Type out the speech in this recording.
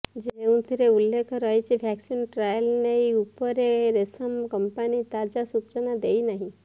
ଯେଉଁଥିରେ ଉଲ୍ଲେଖ ରହିଛି ଭ୍ୟାକସିନ୍ ଟ୍ରାଏଲ୍ ନେଇ ଉପରେ ସେରମ କମ୍ପାନୀ ତାଜା ସୂଚନା ଦେଇ ନାହିଁ